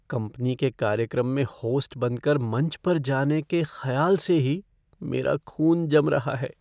Company के कार्यक्रम में होस्ट बनकर मंच पर जाने के ख़्याल से ही मेरा खून जम रहा है।